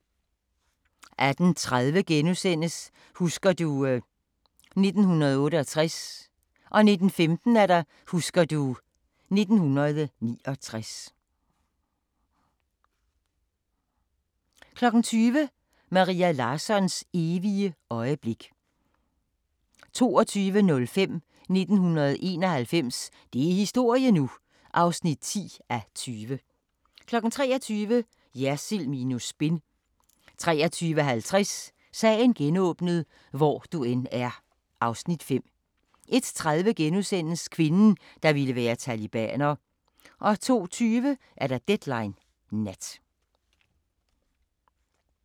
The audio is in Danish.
18:30: Husker du ... 1968 * 19:15: Husker du ... 1969 20:00: Maria Larssons evige øjeblik 22:05: 1991 – det er historie nu! (10:20) 23:00: Jersild minus spin 23:50: Sagen genåbnet: Hvor du end er (Afs. 5) 01:30: Kvinden, der ville være talibaner * 02:20: Deadline Nat